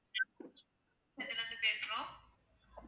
இதுல இருந்து பேசுறோம்